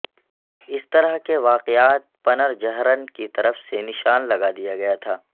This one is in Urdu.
اس طرح کے واقعات پنرجہرن کی طرف سے نشان لگا دیا گیا تھا